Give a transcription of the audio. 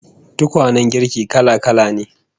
Tukwanen girki kala-kala ne